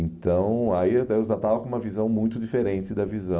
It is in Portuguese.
Então aí eu eu já estava com uma visão muito diferente da visão